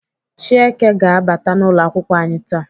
Chieke ga-abata n'ụlọakwụkwọ anyị taa.